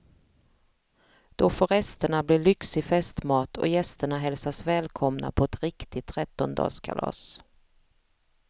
Då får resterna bli lyxig festmat och gästerna hälsas välkomna på ett riktigt trettondagskalas.